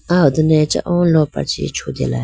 aho done acha oo lopra chee chutela.